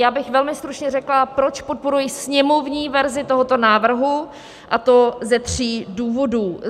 Já bych velmi stručně řekla, proč podporuji sněmovní verzi tohoto návrhu, a to ze tří důvodů.